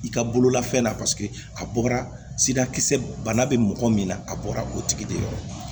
I ka bolola fɛn na a bɔra sirakisɛ bana bɛ mɔgɔ min na a bɔra o tigi de yɔrɔ